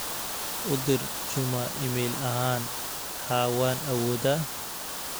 u jawaab juma iimayl ahan haa waan awooda